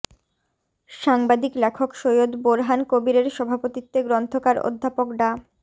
সাংবাদিক লেখক সৈয়দ বোরহান কবীরের সভাপতিত্বে গ্রন্থকার অধ্যাপক ডা